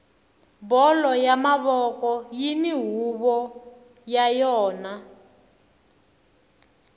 bolo ya mavoko yini huvo ya yona